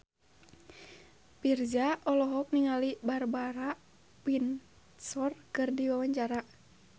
Virzha olohok ningali Barbara Windsor keur diwawancara